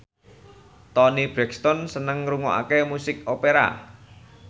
Toni Brexton seneng ngrungokne musik opera